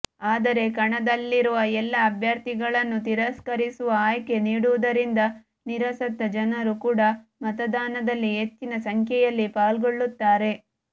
ಆದರೆ ಕಣದಲ್ಲಿರುವ ಎಲ್ಲಾ ಅಭ್ಯರ್ಥಿಗಳನ್ನು ತಿರಸ್ಕರಿಸುವ ಆಯ್ಕೆ ನೀಡುವುದರಿಂದ ನಿರಾಸತ್ತ ಜನರು ಕೂಡ ಮತದಾನದಲ್ಲಿ ಹೆಚ್ಚಿನ ಸಖ್ಯೆಯಲ್ಲಿ ಫಾಲ್ಗೊಳುತ್ತಾರೆ